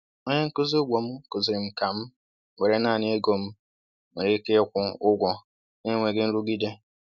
Onye nkuzi ugbo m kụziiri m ka m were naanị ego m m nwere ike ịkwụ ụgwọ na-enweghị nrụgide.